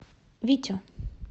витю